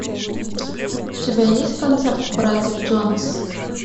у тебя есть концерт братьев джонас